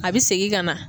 A bɛ segin ka na